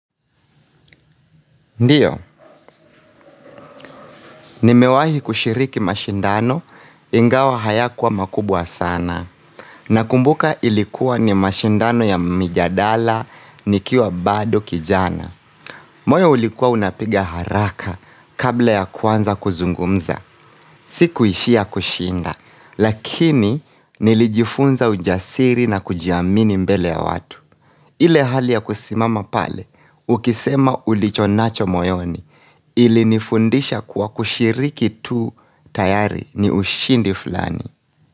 Ndio, nimewahi kushiriki mashindano, ingawa hayakuwa makubwa sana. Nakumbuka ilikuwa ni mashindano ya mijadala, nikiwa bado kijana. Moyo ulikuwa unapiga haraka kabla ya kuanza kuzungumza. Sikuishia kushinda, lakini nilijifunza ujasiri na kujiamini mbele ya watu. Ile hali ya kusimama pale, ukisema ulichonacho moyoni. Ilinifundisha kuwa kushiriki tu tayari ni ushindi fulani.